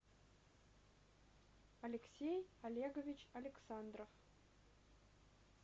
алексей олегович александров